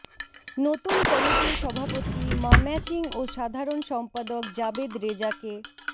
নতুন কমিটির সভাপতি মাম্যাচিং ও সাধারণ সম্পাদক জাবেদ রেজাকে